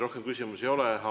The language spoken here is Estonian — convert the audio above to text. Rohkem küsimusi teile ei ole.